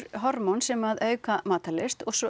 hormón sem að auka matarlyst